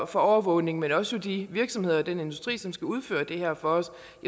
for overvågning men også de virksomheder og den industri som skal udføre det her for